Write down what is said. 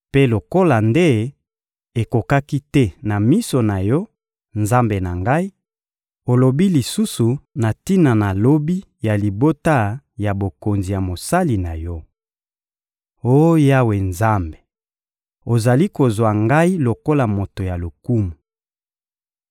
Mpe lokola nde ekokaki te na miso na Yo, Nzambe na ngai, olobi lisusu na tina na lobi ya libota ya bokonzi ya mosali na Yo! Oh Yawe Nzambe, ozali kozwa ngai lokola moto ya lokumu!